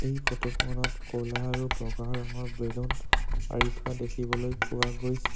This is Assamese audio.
এই ফটোখনত ক'লা আৰু বগা ৰঙৰ বেলুন আঁৰি থোৱা দেখিবলৈ পোৱা গৈছে।